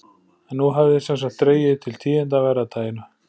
En nú hafði sem sagt dregið til tíðinda af verra taginu.